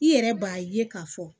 I yɛrɛ b'a ye k'a fɔ